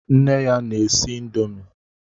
Nne ya na-esi índomi.